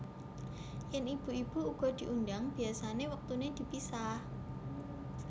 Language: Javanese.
Yèn ibu ibu uga diundhang biasané wektuné dipisah